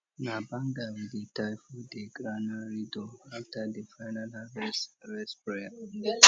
na banga we dey tie for di granary door after di final harvest rest prayer